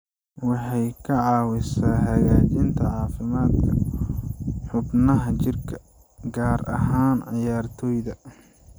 Waxay ka caawisaa hagaajinta caafimaadka xubnaha jirka, gaar ahaan ciyaartoyda.